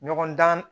Ɲɔgɔndan